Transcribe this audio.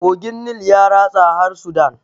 Kogin nil ya ratsa har sudan